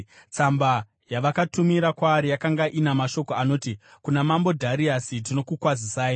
Tsamba yavakatumira kwaari yakanga ina mashoko anoti: Kuna Mambo Dhariasi: Tinokukwazisai.